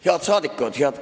Head rahvasaadikud!